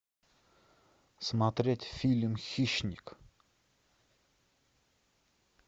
смотреть фильм хищник